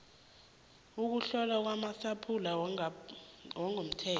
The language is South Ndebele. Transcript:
ukuhlolwa kwamasampula wangokomthetho